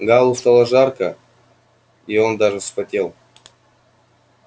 гаалу стало жарко и он даже вспотел